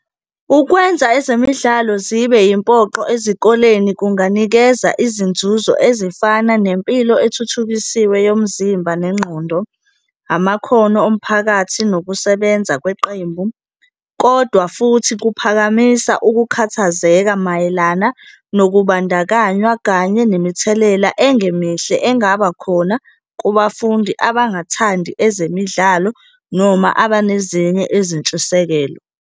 Ukwenza ezemidlalo zibe impoqo ezikoleni kunganikeza izinzuzo ezifana nempilo ethuthukisiwe yomzimba nengqondo, amakhono omphakathi nokusebenza kweqembu. Kodwa futhi kuphakamisa ukukhathazeka mayelana nokubandakanywa kanye nemithelela engemihle engaba khona kubafundi abangathandi ezemidlalo noma abanezinye izintshisekelo.